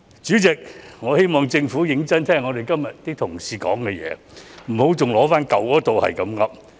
主席，我希望政府認真聆聽我們同事的發言，不要一直重提舊有一套的做法來回應。